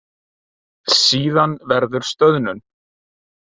Síðan verður stöðnun.